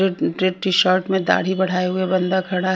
Red red T shirt में दाढ़ी बढ़ाए हुए बंदा खड़ा है।